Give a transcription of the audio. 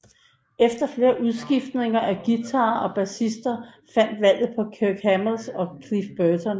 Efter flere udskiftninger af guitarister og bassister faldt valget på Kirk Hammett og Cliff Burton